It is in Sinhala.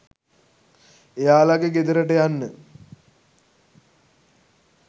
එයාලගේ ගෙදරට යන්න